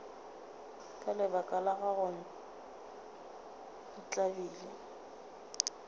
ka lebaka la gago ntlabile